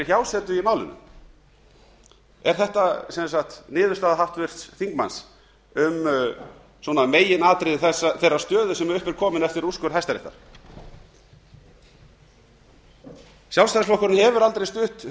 hjásetu í málinu er þetta sem sagt niðurstaða háttvirts þingmanns um svona meginatriði þeirrar stöðu sem upp er komin eftir úrskurð hæstaréttar sjálfsætðsiflokkurinn hefur aldrei stutt